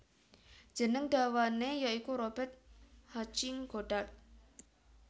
Jeneng dawane ya iku Robert Hutching Goddart